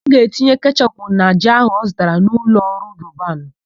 Ọ ga-etinye kechọpụ na ji áhụ̀ ọ zụtara na ụlọọrụ Robanu.